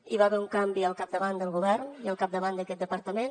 hi va haver un canvi al capdavant del govern i al capdavant d’aquest departament